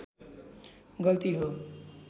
गल्ती हो